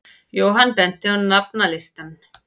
Jóhann benti á nafnalistann.